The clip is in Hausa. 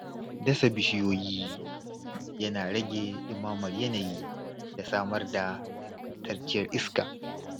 Dasa bishiyoyi yana rage ɗumamar yanayi da samar da ingantacciyar iska.